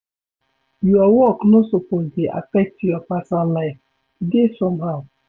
Your work no suppose dey affect your personal life, e dey somehow